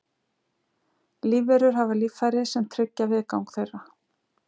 Lífverur hafa líffæri sem tryggja viðgang þeirra.